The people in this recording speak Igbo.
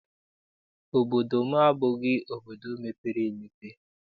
Obodo m abụghị obodo mepere emepe.